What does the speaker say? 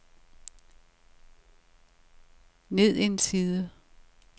ned en side